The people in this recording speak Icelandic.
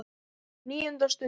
NÍUNDA STUND